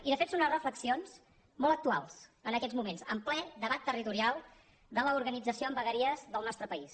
i de fet són unes reflexions molt actuals en aquests moments en ple debat territorial de l’organització en vegueries del nostre país